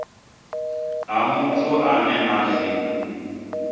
ha muthu ane a si